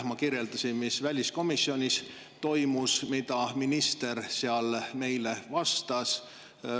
Ma kirjeldasin, mis väliskomisjonis toimus ja mida minister seal meile vastas.